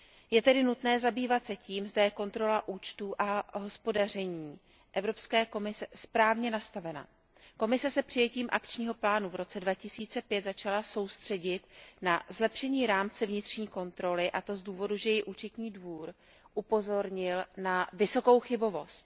Je tedy nutné zabývat se tím, zda je kontrola účtů a hospodaření Evropské komise správně nastavena. Komise se přijetím akčního plánu v roce 2005 začala soustřeďovat na zlepšení rámce vnitřní kontroly, a to z důvodu, že ji Účetní dvůr upozornil na vysokou chybovost.